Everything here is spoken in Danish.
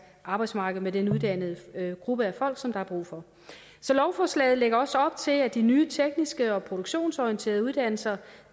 arbejdsmarked med den uddannede gruppe af folk som der er brug for så lovforslaget lægger også op til at de nye tekniske og produktionsorienterede uddannelser